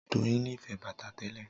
Doyin nífẹ̀ẹ́ bàtà tẹ́lẹ̀